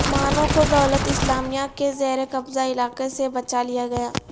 مانو کو دولت اسلامیہ کے زیر قبضہ علاقے سے بچا لیا گیا